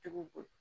Cogo